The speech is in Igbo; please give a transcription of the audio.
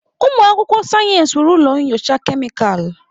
Ụmụ akwụkwọ sayensị nwere ụlọ nyocha kemịkalụ.